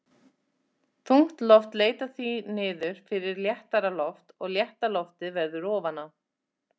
Þungt loft leitar því niður fyrir léttara loft og létta loftið verður ofan á.